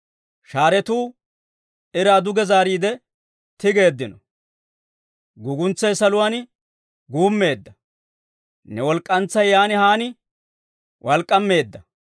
Shaaretuu iraa duge zaariide tigeeddino; guuguntsay saluwaan guummeedda. Ne walk'k'antsay yaan haan walk'k'ammeedda.